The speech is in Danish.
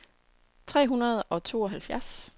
tre hundrede og tooghalvfjerds